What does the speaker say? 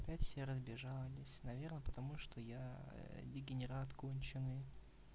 опять все разбежались наверно потому что я дегенерат конченый